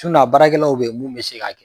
a baarakɛlaw bɛ yen mun bɛ se k'a kɛ